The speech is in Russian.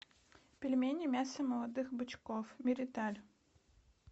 пельмени мясо молодых бычков мириталь